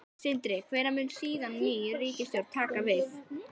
Sindri: Hvenær mun síðan ný ríkisstjórn taka við?